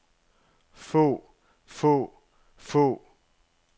få få få